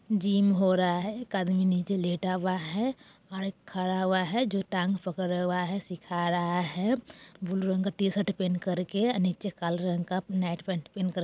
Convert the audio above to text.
जिम हो रहा है एक आदमी नीचे लेटा हुआ है और एक खड़ा हुआ है जो टांग पकडे हुआ है सीखा रहा है ब्लू रंग का टीशर्ट पेन्ह कर के आ नीचे काला रंग का नाईट पेंट पहन करक--